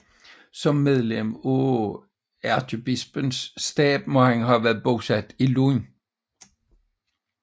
Som medlem af ærkebispens stab må han have været bosat i Lund